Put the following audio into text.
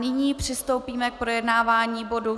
Nyní přistoupíme k projednávání bodu